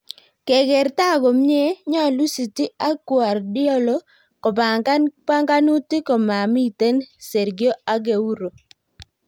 keger taa komyee, nyalu City ak Guardiola kobangan panganutig komamiten Sergio Aguero